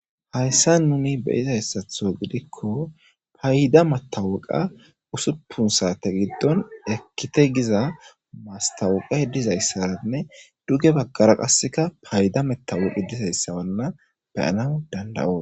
Hayssa nuni beyiza hessatho gidikko payda matawuqa usuppun saate giddon ekkite giza mastawuqah dizayssaanne duge bagkara qasseka payda metawuqi dizayssawanna beyana dandawo.